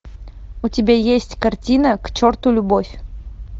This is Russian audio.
у тебя есть картина к черту любовь